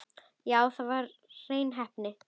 Já, þetta var hrein heppni.